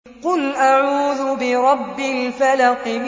قُلْ أَعُوذُ بِرَبِّ الْفَلَقِ